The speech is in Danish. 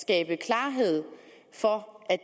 skabe klarhed for at